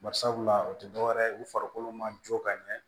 Bari sabula o ti dɔwɛrɛ ye u farikolo ma jɔ ka ɲɛ